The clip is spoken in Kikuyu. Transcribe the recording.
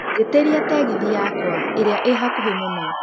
njĩtĩria tegithi yakwa ĩria ĩ hakuhĩ mũno